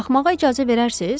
Baxmağa icazə verərsiz?